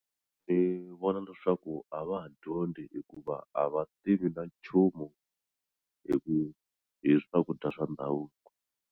Ni vona leswaku a va ha dyondzi hikuva a va tivi na nchumu hi ku hi swakudya swa ndhavuko.